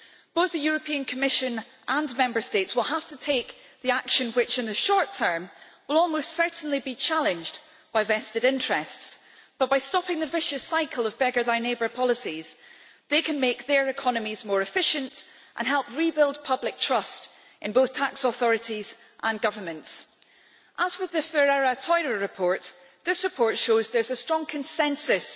Both the Commission and Member States will have to take action which, in the short term, will almost certainly be challenged by vested interests but, by stopping the vicious cycle of beggar-thy-neighbour policies, they can make their economies more efficient and help rebuild public trust in both tax authorities and governments. As with the Ferreira-Theurer report, this report shows that there is a strong consensus